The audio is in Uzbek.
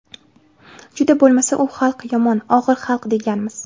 Juda bo‘lmasa u xalq yomon, og‘ir xalq, deganmiz.